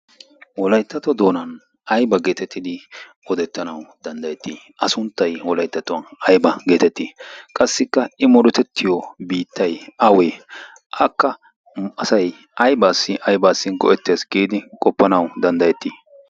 Wolayttato doonan ayba geetettidi odettanau danddayettii? a sunttay holaittatuwan ayba geetettii? qassikka i morotettiyo biittay awee? akka muasay aybaassi aybaassi go'ettees giidi qoppanau danddayettii?